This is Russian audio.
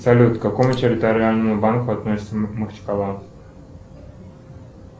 салют к какому территориальному банку относится махачкала